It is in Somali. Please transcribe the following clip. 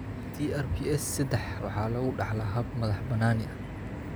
TRPS seddax waxa lagu dhaxlaa hab madax-bannaani ah.